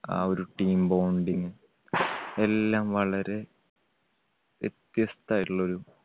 ആ ഒരു team bonding എല്ലാം വളരെ വ്യത്യസ്തായിട്ടുള്ള ഒരു